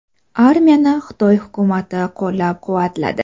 Armiyani Xitoy hukumati qo‘llab-quvvatladi.